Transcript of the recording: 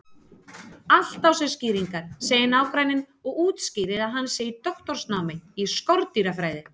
Allt á sér skýringar, segir nágranninn og útskýrir að hann sé í doktorsnámi í skordýrafræði.